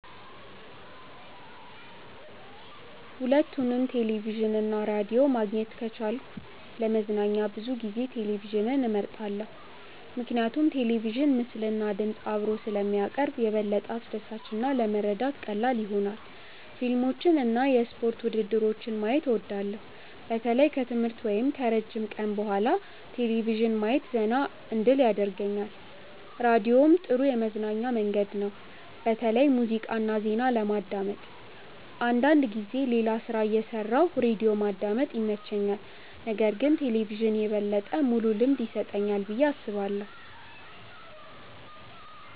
ሁለቱንም ቴሌቪዥን እና ራዲዮ ማግኘት ከቻልኩ ለመዝናኛ ብዙ ጊዜ ቴሌቪዥንን እመርጣለሁ። ምክንያቱም ቴሌቪዥን ምስልና ድምፅ አብሮ ስለሚያቀርብ የበለጠ አስደሳች እና ለመረዳት ቀላል ይሆናል። ፊልሞችን እና የስፖርት ውድድሮችን ማየት እወዳለሁ። በተለይ ከትምህርት ወይም ከረጅም ቀን በኋላ ቴሌቪዥን ማየት ዘና እንድል ያደርገኛል። ራዲዮም ጥሩ የመዝናኛ መንገድ ነው፣ በተለይ ሙዚቃ እና ዜና ለማዳመጥ። አንዳንድ ጊዜ ሌላ ሥራ እየሠራሁ ራዲዮ ማዳመጥ ይመቸኛል። ነገር ግን ቴሌቪዥን የበለጠ ሙሉ ልምድ ይሰጠኛል ብዬ አስባለሁ።